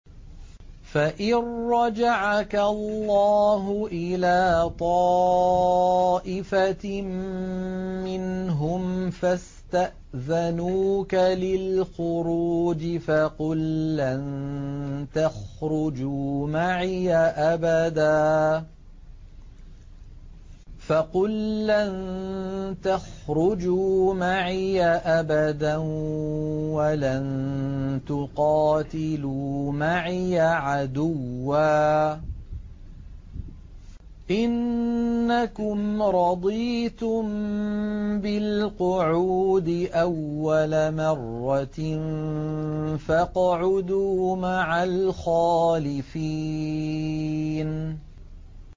فَإِن رَّجَعَكَ اللَّهُ إِلَىٰ طَائِفَةٍ مِّنْهُمْ فَاسْتَأْذَنُوكَ لِلْخُرُوجِ فَقُل لَّن تَخْرُجُوا مَعِيَ أَبَدًا وَلَن تُقَاتِلُوا مَعِيَ عَدُوًّا ۖ إِنَّكُمْ رَضِيتُم بِالْقُعُودِ أَوَّلَ مَرَّةٍ فَاقْعُدُوا مَعَ الْخَالِفِينَ